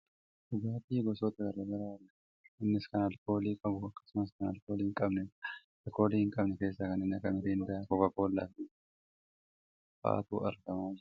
Dhugaatii gosoota gara garaa argaa jirra. Innis kan aalkoolii qabu akkasumas kan aalkoolii hin qabnedha. Kan aalkoolii hin qabne keessaa kanneen akka miriindaa, kookaakoollaa fi gosoota biroo fa'atu argamaa jira.